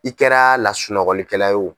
I kɛra lasunɔgɔlikɛla ye o.